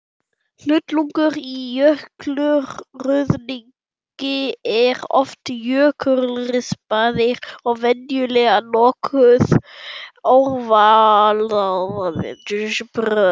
Hnullungar í jökulruðningi eru oft jökulrispaðir og venjulega nokkuð ávalaðir.